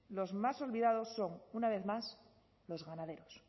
los más olvidados son una vez más los ganaderos